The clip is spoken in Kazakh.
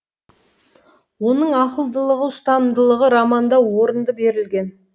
оның ақылдылығы ұстамдылығы романда орынды берілген